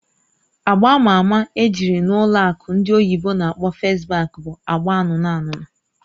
Agba ama ama ejiri n'ụlọ akụ ndị oyibo n'akpọ "First Bank" bụ agba anụnụ anụnụ